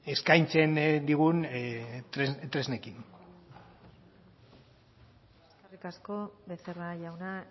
eskaintzen digun tresnekin eskerrik asko becerra jauna